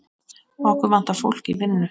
Okkur vantar fólk í vinnu.